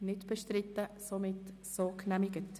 Sie haben diesen Antrag abgelehnt.